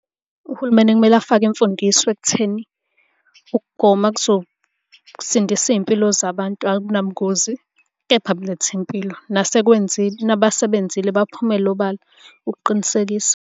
Uhulumeni kumele afake imfundiso ekutheni ukugoma kuzosindisa iy'mpilo zabantu akunabungozi, kepha buletha impilo. Nasekwenzile, nabasebenzile baphumele obala ukuqinisekisa.